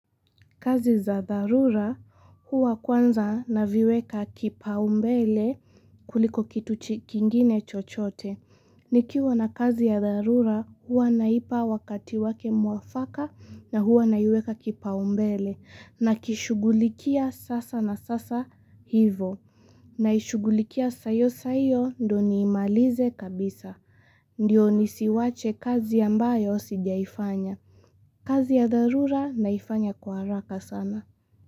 Kazi za dharura huwa kwanza na viweka kipaumbele kuliko kitu kingine chochote. Nikiwa na kazi ya dharura huwa naipa wakati wake mwafaka na huwa naiweka kipa umbele nakishugulikia sasa na sasa hivo. Naishugulikia saiyo saiyo ndo niimalize kabisa. Ndiyo nisiwache kazi ambayo sijaifanya. Kazi ya dharura naifanya kwa haraka sana.